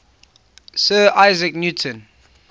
sir isaac newton